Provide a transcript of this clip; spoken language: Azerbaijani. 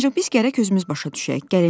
Ancaq biz gərək özümüz başa düşək.